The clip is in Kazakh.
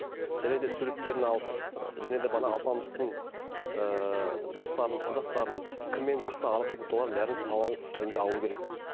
және де суреттерін алып және де мына алпамыстың ыыы достарын құрдастарын кіммен жақсы араласатынын солардың бәрін сауал түрінде алу керек